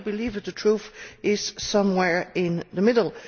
I believe that the truth is somewhere in the middle.